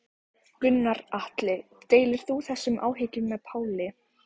Gunnar Atli: Deilir þú þessum áhyggjum með Páli?